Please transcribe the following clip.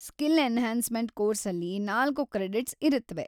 Skill enhancement ಕೋರ್ಸಲ್ಲಿ ನಾಲ್ಕು credits ಇರತ್ವೆ.